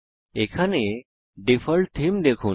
এখানে ডিফল্ট থেমে দেখুন